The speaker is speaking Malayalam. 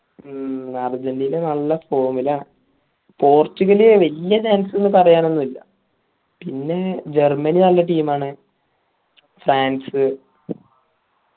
മ്മ് അർജന്റീന നല്ല form ലാ പോർച്ചുഗൽ വെല്യ chance എന്ന് ഒന്നും പറായാൻ ഒന്നുല്ലാ പിന്നെ ജർമ്മനി നല്ല team ആണ് ഫ്രാൻസ്